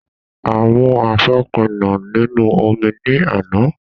A mú àfòpíná nínú omi ní àná.